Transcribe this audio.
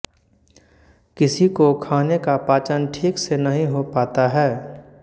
किसी को खाने का पाचन ठीक से नहीं हो पाता है